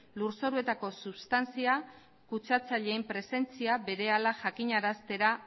lur zoruetako substantzia kutsatzailearen presentzia berehala jakinaraztea